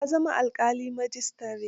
Ya zama alƙalin majistare.